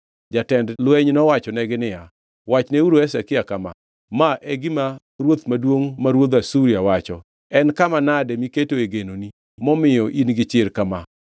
Jatend lweny nowachonegi niya, “Wachneuru Hezekia kama: “ ‘Ma e gima ruoth maduongʼ ma ruodh Asuria wacho: En kama nade miketoe genoni momiyo in-gi chir kama?